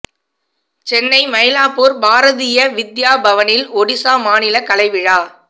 சென்னை மைலாப்பூர் பாரதீய வித்யா பவனில் ஒடிசா மாநில கலை விழா